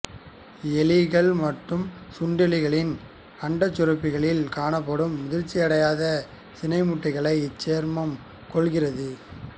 எலிகள் மற்றும் சுண்டெலிகளின் அண்டச்சுரப்பிகளில் காணப்படும் முதிர்ச்சியடையாத சினைமுட்டைகளை இச்சேர்மம் கொல்கிறது